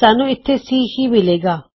ਸਾਨੂੰ ਇਥੇ C ਹੀ ਮਿਲੇਗਾ